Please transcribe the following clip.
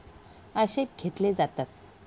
आक्षेप घेतले जातात.